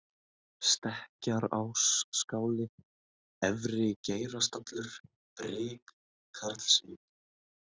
Stekkjarásskáli, Efri-Geirastallur, Brik, Karlsvík